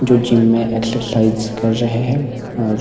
जो जिम में एक्सरसाइज कर रहे हैं और --